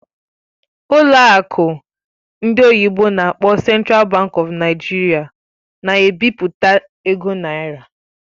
Ụlọ akụ ndị oyibo n'akpọ "Central Bank of Nigeria" na-ebipụta ego naira.